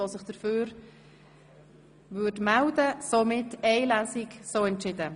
Somit haben Sie die Durchführung von nur einer Lesung beschlossen.